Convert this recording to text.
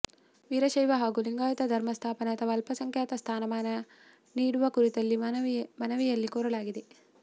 ವೀರಶೈವ ಹಾಗೂ ಲಿಂಗಾಯತ ಧರ್ಮ ಸ್ಥಾಪನೆ ಅಥವಾ ಅಲ್ಪಸಂಖ್ಯಾತ ಸ್ಥಾನಮಾನ ನೀಡುವ ಕುರಿತಂತೆ ಮನವಿಯಲ್ಲಿ ಕೋರಲಾಗಿದೆ